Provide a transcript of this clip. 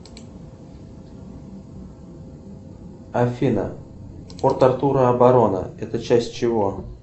афина порт артура оборона это часть чего